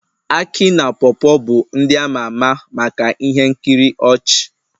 Akị na paw paw bụ ndị a ma ama maka ihe nkiri ọchị